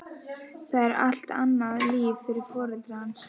Það er allt annað líf fyrir foreldra hans, einkum Eddu.